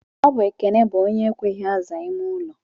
Ọbụ Ekene bụ onye ekweghị aza ime ụlọ.